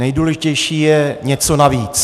Nejdůležitější je něco navíc.